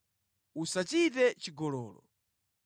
“Usachite chigololo.